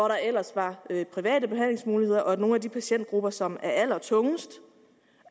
der ellers var private behandlingsmuligheder for og at nogle af de patientgrupper som er allertungest